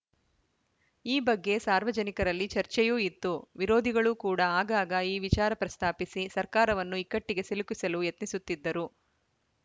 ಈ ಬಗ್ಗೆ ಸಾರ್ವಜನಿಕರಲ್ಲಿ ಚರ್ಚೆಯೂ ಇತ್ತು ವಿರೋಧಿಗಳು ಕೂಡ ಆಗಾಗ ಈ ವಿಚಾರ ಪ್ರಸ್ತಾಪಿಸಿ ಸರ್ಕಾರವನ್ನು ಇಕ್ಕಟ್ಟಿಗೆ ಸಿಲುಕಿಸಲು ಯತ್ನಿಸುತ್ತಿದ್ದರು